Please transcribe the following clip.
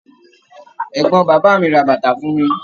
Ẹgbọn bàbá mí ra bàtà fún mí